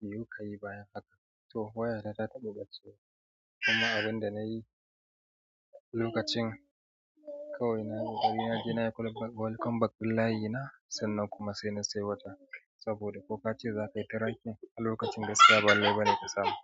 me kuka yi bayan haka? To wayata ta taɓa ɓacwa kuma abin da nayi lokacin kawai nayi, ƙoƙari naje nayi welcome back din layina sannan kuma sai na sai wata. Saboda kuka ce za ka yi tirakin a lokacin gaskiya ba lalle bane ka samu.